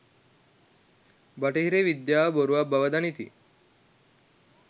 බටහිර විද්‍යාව බොරුවක් බව දනිති